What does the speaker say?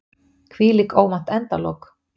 Hvílík óvænt endalok!